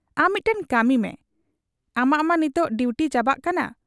ᱟᱢ ᱢᱤᱫᱴᱟᱹᱝ ᱠᱟᱹᱢᱤᱢᱮ, ᱟᱢᱟᱜ ᱢᱟ ᱱᱤᱛᱚᱜ ᱰᱤᱣᱴᱤ ᱪᱟᱵᱟᱜ ᱠᱟᱱᱟ ᱾